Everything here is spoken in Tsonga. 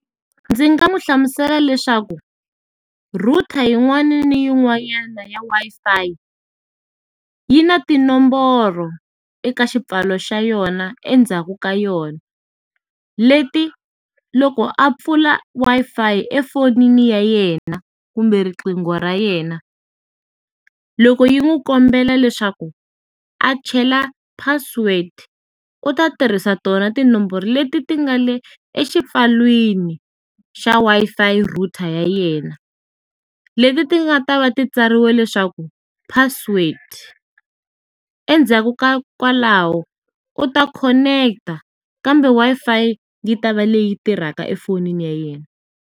Ndzi nga mu hlamusela leswaku, router yin'wani ni yin'wanyana ya Wi-Fi, yi na tinomboro eka xipfalo xa yona endzhaku ka yona. Leti loko a pfula Wi-Fi efonini ya yena kumbe riqingho ra yena, loko yi n'wi kombela leswaku a chela password, u ta tirhisa tona tinomboro leti ti nga le exipfalwini xa Wi-Fi router ya yena. Leti ti nga ta va ti tsariwe leswaku, password. Endzhaku ka kwalaho, u ta connect-a kambe Wi-Fi yi ta va leyi tirhaka efonini ya yena.